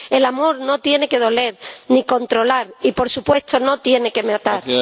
El amor no tiene que doler, ni controlar y, por supuesto, no tiene que matar.